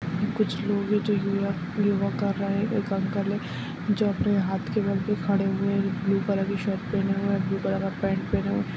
कुछ लोग हैं जो योगा योगा कर रहे हैं एक अंकल है जो अपने हाथ के बल पे खड़े हुए हैं ब्लू कलर के शर्ट पहने हुए हैं ब्लू कलर का पेंट पहने हुए --